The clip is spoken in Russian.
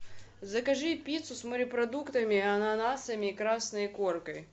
закажи пиццу с морепродуктами ананасами и красной икоркой